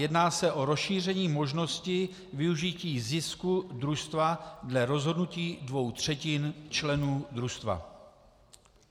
Jedná se o rozšíření možnosti využití zisku družstva dle rozhodnutí dvou třetin členů družstva.